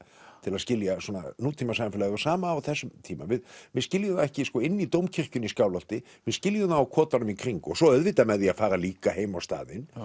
til að skilja svona nútímasamfélag og sama á þessum tíma við við skiljum það ekki inni í Dómkirkjunni í Skálholti við skiljum það á kotunum í kring svo auðvitað með því að fara líka heim á staðinn